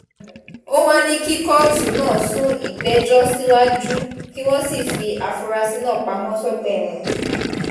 ó wàá ní kí kóòtù náà sún ìgbẹ́jọ́ síwájú kí wọ́n sì fi àfúrásì náà pamọ́ sọ́gbà ẹ̀wọ̀n